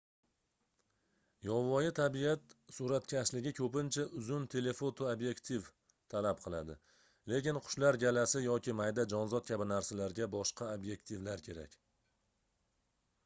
yovvoyi tabiat suratkashligi koʻpincha uzun telefoto obyektiv talab qiladi lekin qushlar galasi yoki mayda jonzot kabi narsalarga boshqa obyektivlar kerak